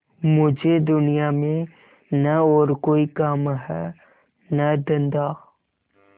मुझे दुनिया में न और कोई काम है न धंधा